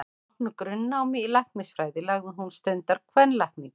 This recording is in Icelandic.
Að loknu grunnnámi í læknisfræði lagði hún stund á kvenlækningar.